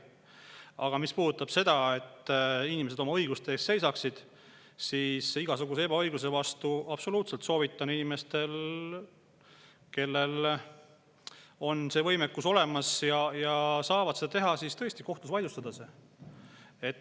Aga mis puudutab seda, et inimesed oma õiguste eest seisaksid, siis igasuguse ebaõigluse puhul absoluutselt soovitan inimestel, kellel on see võimekus olemas ja kes saavad seda teha, tõesti see kohtus vaidlustada.